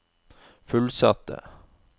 fullsatte